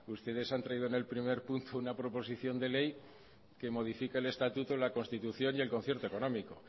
ustedes han traído en el primer turno una proposición de ley que modifique el estatuto la constitución y el concierto económico